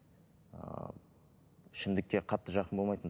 ы ішімдікке қатты жақын болмайтынмын